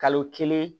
Kalo kelen